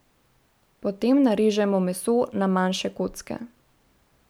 Potem narežemo meso na manjše kocke.